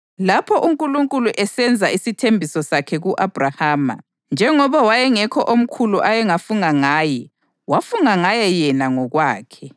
Lapho uNkulunkulu esenza isithembiso sakhe ku-Abhrahama, njengoba wayengekho omkhulu ayengafunga ngaye, wafunga ngaye yena ngokwakhe